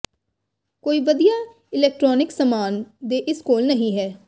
ਕੋਈ ਵਧੀਆ ਇਲੈਕਟ੍ਰੋਨਿਕਸ ਸਾਮਾਨ ਦੇ ਇਸ ਕੋਲ ਨਹੀ ਹੈ